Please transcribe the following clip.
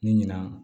Ni ɲina